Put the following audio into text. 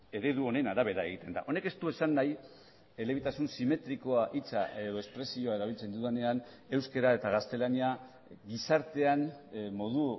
eredu honen arabera egiten da honek ez du esan nahi elebitasun simetrikoa hitza edo espresioa erabiltzen dudanean euskara eta gaztelania gizartean modu